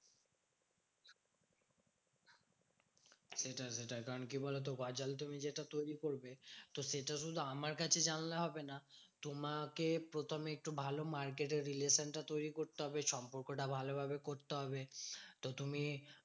সেটাই সেটাই, কারণ কি বলতো? গজাল তুমি যেটা তৈরী করবে, তো সেটা শুধু আমার কাছে জানলে হবে না। তোমাকে প্রথমে একটু ভালো market এ relation টা তৈরী করতে হবে। সম্পর্কটা ভালোভাবে করতে হবে। তো তুমি